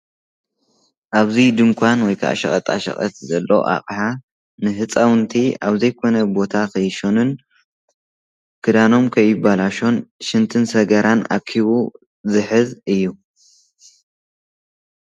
ኣብዚ ድንኳን ወይ ከዓ ሸቀጣሸቀጥ ዘሎ ኣቕሓ ንህፃውቲ ኣብዘይኮነ ቦታ ንከይሸኑን ክዳኖም ከይባላሾን ሽንትን ሰገራን ኣኪቡ ዝሕዝ እዩ።